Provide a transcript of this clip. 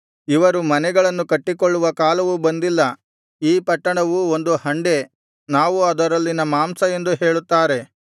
ಇವರು ಮನೆಗಳನ್ನು ಕಟ್ಟಿಕೊಳ್ಳುವ ಕಾಲವು ಬಂದಿಲ್ಲ ಈ ಪಟ್ಟಣವು ಒಂದು ಹಂಡೆ ನಾವು ಅದರಲ್ಲಿನ ಮಾಂಸ ಎಂದು ಹೇಳುತ್ತಾರೆ